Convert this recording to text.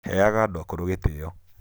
heaga andũ akũrũ gĩtĩĩo